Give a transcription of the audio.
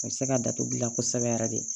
A bɛ se ka datugu gilan kosɛbɛ yɛrɛ de